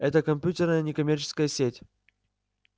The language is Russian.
это компьютерная некоммерческая сеть